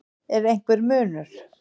Er einhver munur?